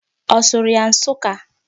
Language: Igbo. Ọ sụrụ ya Nsuka?